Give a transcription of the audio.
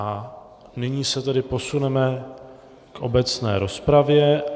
A nyní se tedy posuneme k obecné rozpravě.